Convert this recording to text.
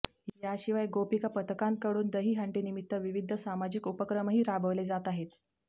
या शिवाय गोपिका पथकांकडून दहीहंडीनिमित्त विविध सामाजिक उपक्रमही राबवले जात आहेत